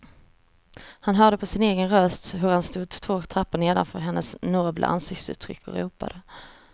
Han hörde på sin egen röst hur han stod två trappor nedanför hennes nobla ansiktsuttryck och ropade.